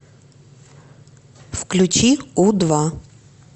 включи у два